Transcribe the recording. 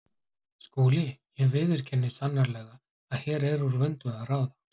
SKÚLI: Ég viðurkenni sannarlega að hér er úr vöndu að ráða.